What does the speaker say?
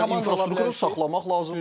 Yəni infrastruktur saxlamaq lazımdır.